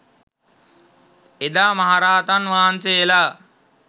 එදා මහ රහතන් වහන්සේලා